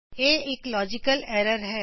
ਇਹ ਇਕ logical error ਹੈ